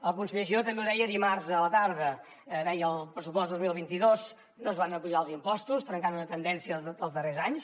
el conseller giró també ho deia dimarts a la tarda deia que en el pressupost dos mil vint dos no es van apujar els impostos trencant una tendència dels darrers anys